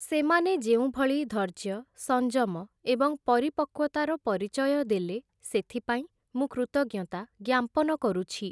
ସେମାନେ ଯେଉଁଭଳି ଧୈର୍ଯ୍ୟ, ସଂଯମ ଏବଂ ପରିପକ୍ୱତାର ପରିଚୟ ଦେଲେ ସେଥିପାଇଁ ମୁଁ କୃତଜ୍ଞତା ଜ୍ଞାପନ କରୁଛି ।